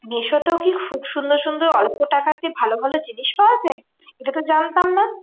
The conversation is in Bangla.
মিশোতেও কি খুব সুন্দর সুন্দর অল্প টাকাতে ভালো ভালো জিনিস পাওয়া যায়? এটা তো জানতাম না।